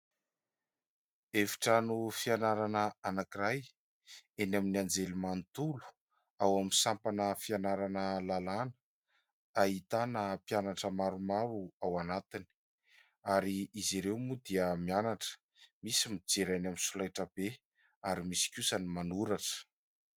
Efitrano fianarana anankiray eny amin'ny anjery manontolo, ao amin'ny sampana fianarana lalàna. Ahitana mpianatra maromaro ao anatiny; ary izy ireo moa dia mianatra. Misy mijery eny amin'ny solaitrabe; ary misy kosa ny manoratra.